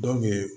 Dɔ kun bɛ